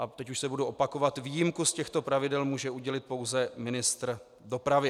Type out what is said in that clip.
A teď už se budu opakovat: výjimku z těchto pravidel může udělit pouze ministr dopravy.